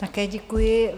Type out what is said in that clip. Také děkuji.